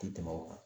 Tɛ tɛmɛ o kan